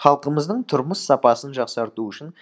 халқымыздың тұрмыс сапасын жақсарту үшін